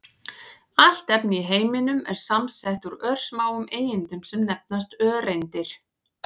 Allt efni í heiminum er samsett úr örsmáum einingum sem nefnast öreindir.